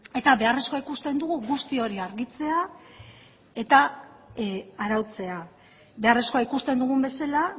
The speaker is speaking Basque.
eta beharrezkoa ikusten dugu guzti hori argitzea eta arautzea beharrezkoa ikusten dugun bezala